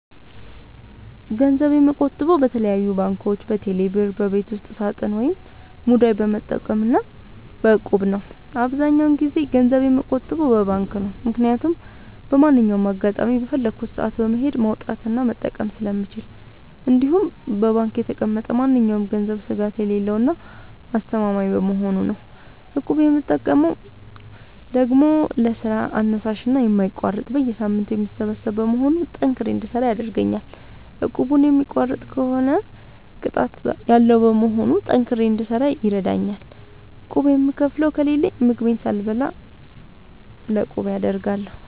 ገንዘብ የምቆጥበው በተለያዩ ባንኮች÷በቴሌ ብር ÷በቤት ውስጥ ሳጥን ወይም ሙዳይ በመጠቀም እና በ እቁብ ነው። አብዛኛውን ጊዜ ገንዘብ የምቆጥበው በባንክ ነው። ምክያቱም በማንኛውም አጋጣሚ በፈለኩት ሰአት በመሄድ ማውጣት እና መጠቀም ስለምችል እንዲሁም በባንክ የተቀመጠ ማንኛውም ገንዘብ ስጋት የሌለው እና አስተማማኝ በመሆኑ ነው። እቁብ የምጠቀመው ደግሞ ለስራ አነሳሽና የማይቋረጥ በየሳምንቱ የሚሰበሰብ በመሆኑ ጠንክሬ እንድሰራ ያደርገኛል። እቁቡን የሚቋርጥ ከሆነ ቅጣት ያለዉ በመሆኑ ጠንክሬ እንድሰራ ይረደኛል። ቁብ የምከፍለው ከሌለኝ ምግቤን ሳልበላ ለቁቤ አደርጋለሁ።